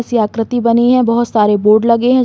सी आकृति बनी हैं। बहोत सारे बोर्ड लगे हैं।